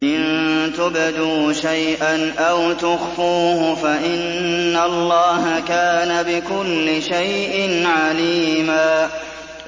إِن تُبْدُوا شَيْئًا أَوْ تُخْفُوهُ فَإِنَّ اللَّهَ كَانَ بِكُلِّ شَيْءٍ عَلِيمًا